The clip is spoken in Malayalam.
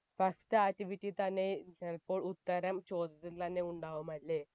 first activity തന്നെ ചിലപ്പോൾ ഉത്തരം ചോദ്യത്തിൽ തന്നെ ഉണ്ടാവുമല്ലേ